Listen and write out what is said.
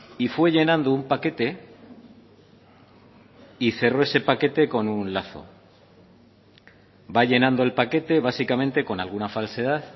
y fue llenando un paquete y cerró ese paquete con un lazo va llenando el paquete básicamente con alguna falsedad